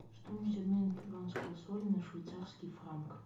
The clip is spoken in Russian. стоимость обмена перуанского соля на швейцарский франк